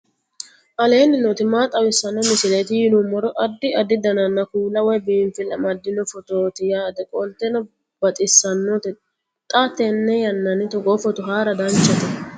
aleenni nooti maa xawisanno misileeti yinummoro addi addi dananna kuula woy biinfille amaddino footooti yaate qoltenno baxissannote xa tenne yannanni togoo footo haara danchate